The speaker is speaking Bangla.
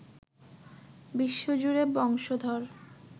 বিশ্বজুড়ে বংশধর